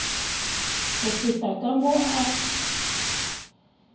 go feta ka mo a